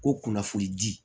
Ko kunnafonidi